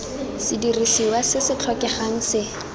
sedirisiwa se se tlhokegang se